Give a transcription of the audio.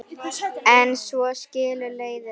En svo skilur leiðir.